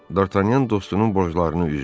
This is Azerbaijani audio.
Dartanyan dostunun borclarını üzdü.